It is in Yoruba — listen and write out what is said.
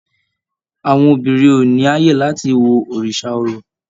Àwọn obìnrin ò ní ààyè láti wo òrìṣà orò